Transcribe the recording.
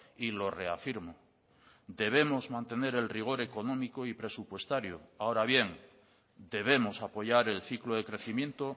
y lo reafirmo debemos mantener el rigor económico y presupuestario ahora bien debemos apoyar el ciclo de crecimiento